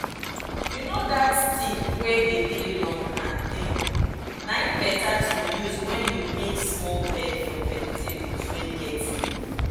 you know that stick wey dey dey long and tin na em better to use when you make small bed for vegetables wey get leaf